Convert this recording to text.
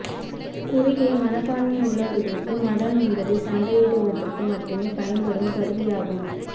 குறுகிய மனப்பான்மை உள்ளவர்களுக்கு மதம் என்பது சண்டையிடுவதற்கு மட்டுமே பயன்படும் கருவியாகும்